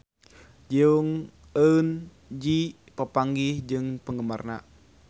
Jong Eun Ji papanggih jeung penggemarna